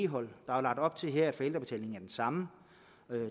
hold der er lagt op til at forældrebetalingen er den samme